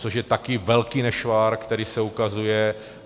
Což je také velký nešvar, který se ukazuje.